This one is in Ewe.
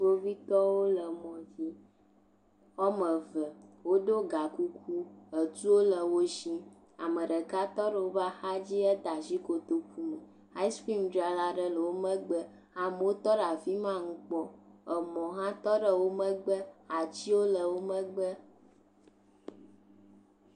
Kpovitɔwo le mɔ dzi. Wo ame eve woɖo gakuku. Etuwo le wo si. Ame ɖeka tɔ ɖe woƒe axadzi hede asi kotoku me. Asiikrimu dzrala ɖe le ɖo megbe. Ame wo tɔ ɖe afi ma le nu kpɔm. Emɔ hã tɔ ɖe wo megbe, atiwo le wo megbe.